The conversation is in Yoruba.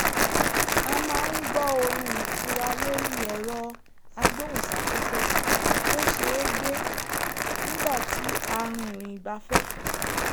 a máa ń gbọ́ orin ìtura lórí ẹ̀rọ agbóhùnsáfẹ́fẹ́ tó ṣeé gbé nígbà tí a rìnrìn ìgbafẹ́